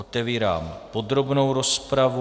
Otevírám podrobnou rozpravu.